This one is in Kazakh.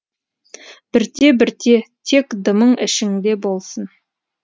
бірте бірте тек дымың ішіңде болсын